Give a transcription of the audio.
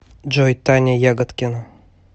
джой таня ягодкина